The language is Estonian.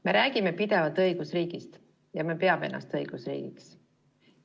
Me räägime pidevalt õigusriigist ja me peame ennast õigusriigiks.